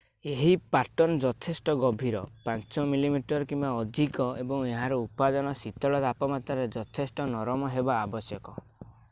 ଏହି ପାଟର୍ନ୍‌ ଯଥେଷ୍ଟ ଗଭୀର 5 mm 1/5 ଇଞ୍ଚ କିମ୍ବା ଅଧିକ ଏବଂ ଏହାର ଉପାଦାନ ଶୀତଳ ତାପମାତ୍ରାରେ ଯଥେଷ୍ଟ ନରମ ହେବା ଆବଶ୍ୟକ।